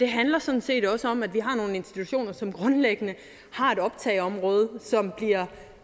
handler sådan set også om at vi har nogle institutioner som grundlæggende har et optageområde som